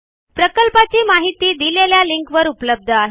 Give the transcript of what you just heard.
प्रकल्पाची माहिती दिलेल्या लिंकवर उपलब्ध आहे